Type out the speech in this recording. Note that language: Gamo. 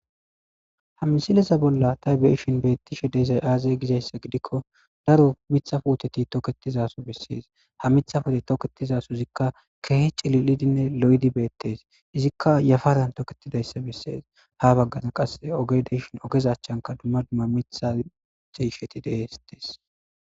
Ha misileza bolla taybieshin beettishe deyzay aazay gizayssa gidikko daro mithafuoteti toketizaso bessees ha mithafode toketizaso izikka keehi cili'idinne lo'edi beettees izikka yafaran toketidayssa bessees ha baggaza qasse ogedeshon ogezachchanka dumma dumma mitha seisheti deestees.